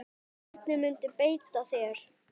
Hvernig muntu beita þér?